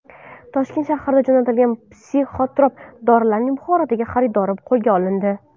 Toshkent shahridan jo‘natilgan psixotrop dorilarning Buxorodagi xaridori qo‘lga olindi.